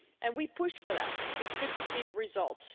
We pushed for that and it's good to see the results.